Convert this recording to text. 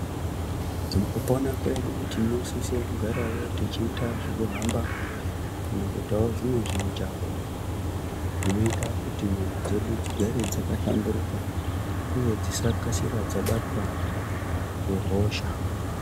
Mukupona kwedu tinosise kugarawo techiite zvekuhamba kana kuitawo zvimwe zvimujaho zvinoita kuti nyama dzedu dzigare dzakahlamburuka uye dzisakasira dzabatwa ngehosha.